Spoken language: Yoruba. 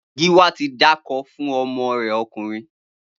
Giwa ti dákó fún ọmọ rè ọkunrin